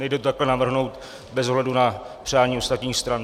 Nejde to takto navrhnout bez ohledu na přání ostatních stran.